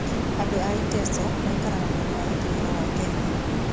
Andũ a Iteso maikaraga mwena wa ithuĩro wa Kenya.